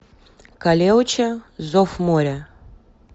калеуче зов моря